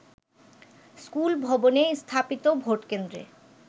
স্কুলভবনে স্থাপিত ভোটকেন্দ্রে